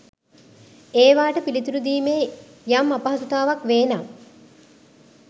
ඒවාට පිළිතුරු දීමේ යම් අපහසුතාවක් වේ නම්